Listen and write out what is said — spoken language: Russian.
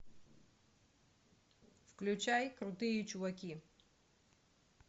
включай крутые чуваки